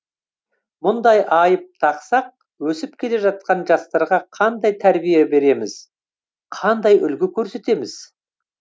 мұндай айып тақсақ өсіп келе жатқан жастарға қандай тәрбие береміз қандай үлгі көрсетеміз